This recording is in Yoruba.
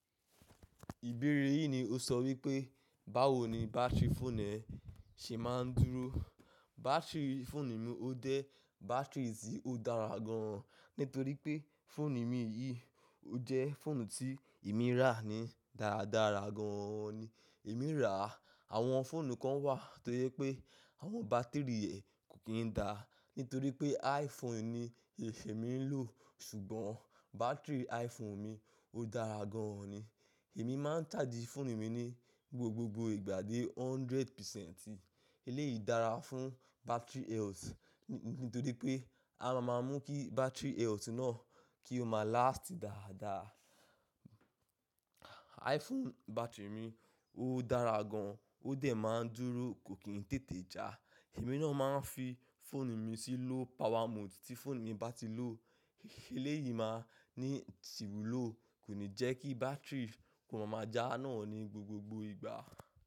Ìbéèrè yìí ni o sọ wípé, báwo ni bátìrì fóònù ẹ ṣe máa ń dúró. Bátìrì fóònù mi ọ dẹ bátìrì tí ó dára gan an. Nítorí pé fóònù mi yìí ọ jẹ́ fóònù tí èmi rà ni. Dáradára gan an ni èmi rà. Àwọn fóònù kan wà tó jẹ́ pé àwọn bátìrì rẹ̀ kò kín dá. Nítorí pé iPhone ni ifẹ̀ mi ń lò, ṣùgbọ́n bátìrì iPhone mi ó dára gan an ni. Èmi máa ń sàjí fóònù mi ní gbogbogbò ìgbà dé hundred percent. Eléyìí dára fún battery health. Nítorí pé a má a mú kí battery health náà kí o máa last dáadáa. iPhone battery mi ó dára gan an, ó dẹ̀ má a dúró, kò kín tètè já. Èmi náà má a ń fi fóònù mi sílò power mode tí fóònù mi bá ti lò. Eléyìí máa ń sìwúlò, kò ní jẹ́ kí bátìrì kó máa ma já náà ní gbogbogbò ìgbà.